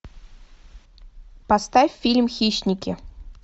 поставь фильм хищники